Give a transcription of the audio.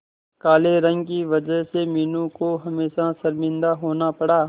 काले रंग की वजह से मीनू को हमेशा शर्मिंदा होना पड़ा